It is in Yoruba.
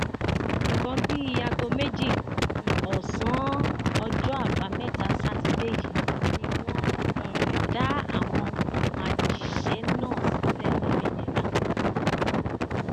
nǹkan bíi aago méjì um ọsán ọjọ àbámẹta sátidé yìí ni wọn um dá àwọn majíṣẹ náà sílẹ lómìnira